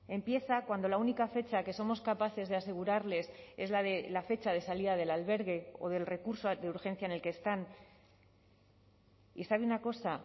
empieza cuando la única fecha que somos capaces de asegurarles es la de la fecha de salida del albergue o del recurso de urgencia en el que están y sabe una cosa